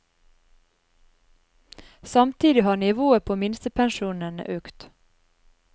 Samtidig har nivået på minstepensjonene økt.